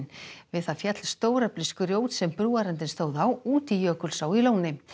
við það féll stóreflis grjót sem brúarendinn stóð á út í Jökulsá í Lóni